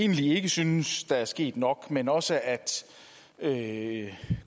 egentlig ikke synes der er sket nok men også at at